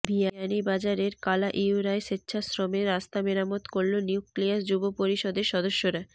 বিয়ানীবাজারের কালাইউরায় স্বেচ্ছাশ্রমে রাস্তা মেরামত করলো নিউক্লিয়াস যুবপরিষদের সদস্যরা